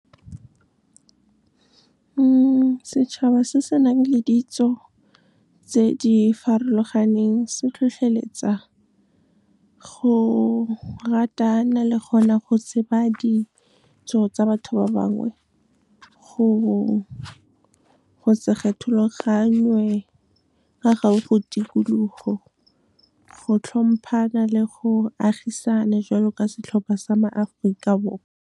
Setšhaba se se nang le ditso tse di farologaneng, se tlhotlheletsa go ratana le gona go tseba ditso tsa batho ba bangwe. Go se kgethologangwe ka ga go tikologo, go hlomphana le go agisana jwalo ka setlhopha sa maAforika Borwa. Setšhaba se se nang le ditso tse di farologaneng, se tlhotlheletsa go ratana le gona go tseba ditso tsa batho ba bangwe. Go se kgethologangwe ka ga go tikologo, go hlomphana le go agisana jwalo ka setlhopha sa maAforika Borwa.